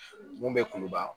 Mun bɛ kuluba